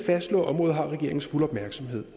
fastslå at området har regeringens fulde opmærksomhed